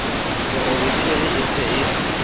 serobe phiri e se e